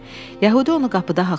Yəhudi onu qapıda haqladı.